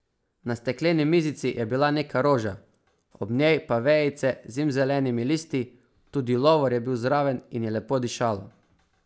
Na stekleni mizici je bila neka roža, ob njej pa vejice z zimzelenimi listi, tudi lovor je bil zraven in je lepo dišalo.